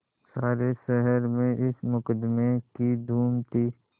सारे शहर में इस मुकदमें की धूम थी